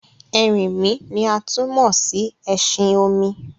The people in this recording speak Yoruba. Ẹrìnmí ni a tún mó sí ẹ̀ṣin-òmì.